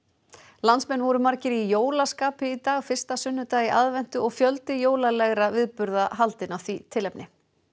landsmenn voru margir í jólaskapi í dag fyrsta sunnudag í aðventu og fjöldi viðburða haldinn af því tilefni